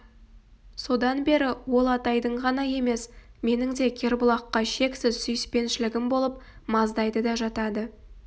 содан бері ол атайдың ғана емес менің де кербұлаққа шексіз сүйіспеншілігім болып маздайды да жатады